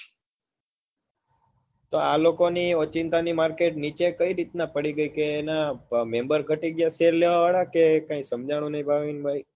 તો આ લોકો ની ઓચિંતાની market નીચે કઈ રીતના પડી ગઈ કે એના member ગતિ ગયા share લેવા વાળા કે કાઈ સમજાણું નઈ ભાવિનભાઈ